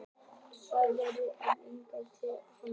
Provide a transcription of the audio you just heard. Ég var dauðþreyttur og sá enga ástæðu til að tortryggja hana.